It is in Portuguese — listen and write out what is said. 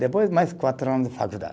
Depois, mais quatro anos de faculdade.